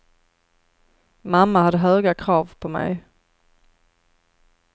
Mamma hade höga krav på mig.